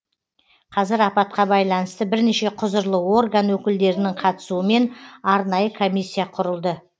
қазір апатқа байланысты бірнеше құзырлы орган өкілдерінің қатысуымен арнайы комиссия құрылды